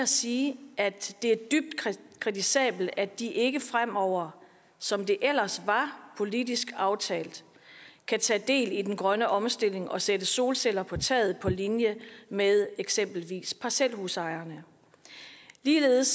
sige at det er dybt kritisabelt at de ikke fremover som det ellers var politisk aftalt kan tage del i den grønne omstilling og sætte solceller på taget på linje med eksempelvis parcelhusejerne ligeledes